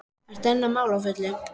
Ertu enn að mála á fullu?